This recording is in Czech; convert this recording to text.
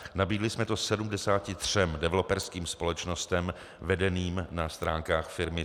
Nabídli jsme to 73 developerským společnostem vedeným na stránkách firmy.cz